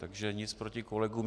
Takže nic proti kolegům.